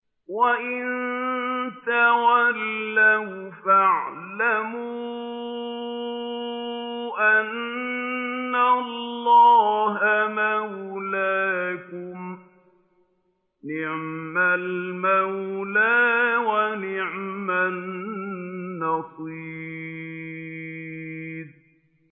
وَإِن تَوَلَّوْا فَاعْلَمُوا أَنَّ اللَّهَ مَوْلَاكُمْ ۚ نِعْمَ الْمَوْلَىٰ وَنِعْمَ النَّصِيرُ